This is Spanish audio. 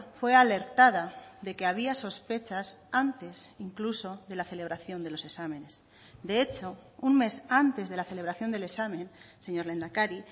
fue alertada de que había sospechas antes incluso de la celebración de los exámenes de hecho un mes antes de la celebración del examen señor lehendakari